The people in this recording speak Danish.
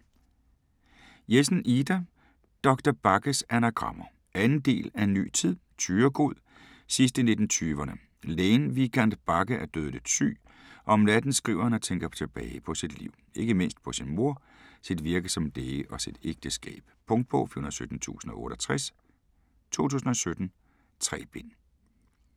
Jessen, Ida: Doktor Bagges anagrammer 2. del af En ny tid. Thyregod, sidst i 1920'erne. Lægen Vigand Bagge er dødeligt syg, og om natten skriver han og tænker tilbage på sit liv. Ikke mindst på sin mor, sit virke som læge og sit ægteskab. Punktbog 417068 2017. 3 bind.